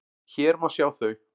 Hér má sjá þau.